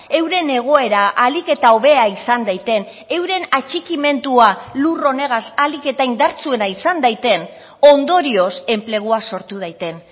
euren egoera ahalik eta hobea izan daiten euren atxikimendua lur honegaz ahalik eta indartsuena izan daiten ondorioz enplegua sortu daiten